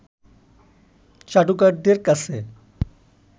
চাটুকারদের কাছে